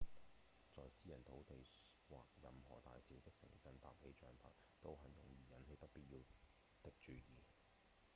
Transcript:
在私人土地或任何大小的城鎮搭起帳棚都很容易引起不必要的注意